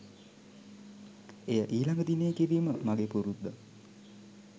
එය ඊළඟ දිනයේ කිරීම මගේ පුරුද්දක්.